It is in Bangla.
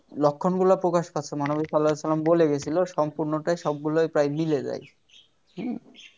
লক্ষণ গুলো প্রকাশ পাচ্ছে মহানবী সাল্লাল্লাহু আলাইহি ওয়াসাল্লাম বলে গিয়েছিল সম্পূর্ণটাই সবগুলোই প্রায় মিলে যায় হুম